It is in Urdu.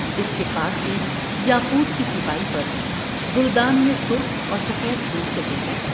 اس کے پاس ہی یا قوت کی تپائی پر گل دان میں سرخ اور سفید پھول سجے ہیں ۔